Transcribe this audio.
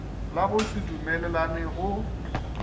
la go se dumelelane go